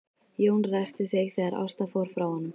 Jón ræskti sig þegar Ásta fór frá honum.